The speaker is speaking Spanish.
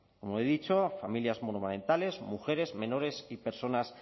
como he dicho familias monomarentales mujeres menores y personas